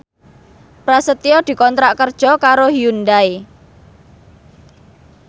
Prasetyo dikontrak kerja karo Hyundai